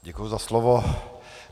Děkuji za slovo.